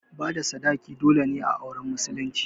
Bada sadaki dole ne a auren musulunci